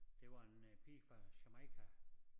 Det var en øh pige fra Jamaica